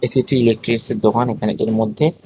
এটি ইলেকট্রিকসের দোকান এখানে এর মধ্যে--